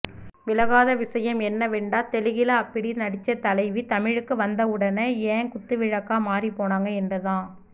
விளங்காத விசயம் என்னவெண்டா தெலுகில அப்பிடி நடிச்ச தலைவி தமிழுக்கு வந்தவுடன ஏன் குத்துவிளக்கா மாறிப்போனாங்க எண்டுதான்